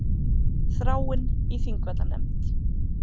Þráinn í Þingvallanefnd